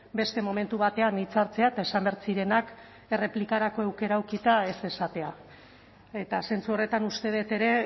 beste momentu batean hitzartzea eta esan behar zirenak erreplikarako aukera edukita ez esatea eta zentzu horretan uste dut ere